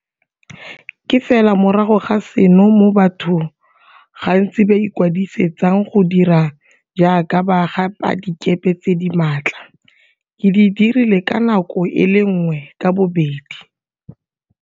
Ke fela morago ga seno moo batho gantsi ba ikwadise tsang go dira jaaka baga padikepe tse di maatla. Ke di dirile ka nako e le nngwe ka bobedi.